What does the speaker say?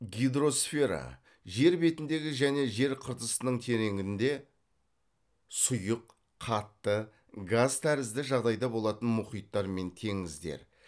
гидросфера жер бетіндегі және жер қыртысының тереңінде сұйық қатты газ тәрізді жағдайда болатын мұхиттар мен теңіздер